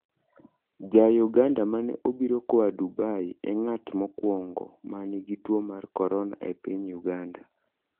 Jauganda mane obiro koa Dubai e ng'at mokwongo ma nigi tuo mar corona e piny Uganda.